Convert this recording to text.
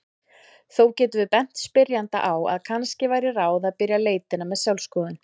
Þó getum við bent spyrjanda á að kannski væri ráð að byrja leitina með sjálfsskoðun.